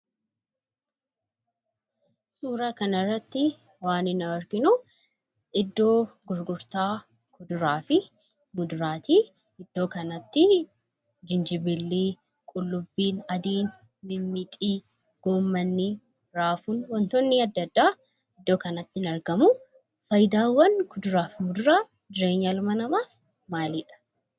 Suuraa kana irratti waan nuuy arginuu, iddoo gurgurta Kuduraafi Muduraattii. Iddoo kanattii: Jinjibillii, Qullubii Addiin, Mixmixii, Gommannii, Raafuun waantotti adda addaa iddoo kanatti in argamu. Faayiidaawwaan Kuduraaf Muduraa Jireenya ilma namaaf maalidha?